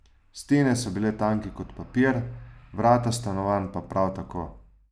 Stene so bile tanke kot papir, vrata stanovanj pa prav tako.